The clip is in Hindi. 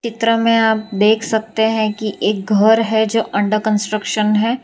चित्र में आप देख सकते हैं कि एक घर है जो अंडर कंस्ट्रक्शन है।